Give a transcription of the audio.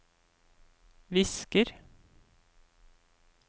visker